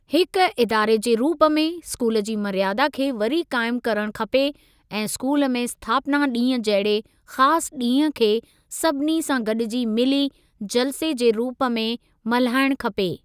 हिक इदारे जे रूप में स्कूल जी मर्यादा खे वरी क़ाइमु करणु खपे ऐं स्कूल में स्थापना ॾींहुं जहिड़े ख़ासि ॾींह खे सभिनी सां गॾिजी मिली जलसे जे रूप में मल्हाइणु खपे।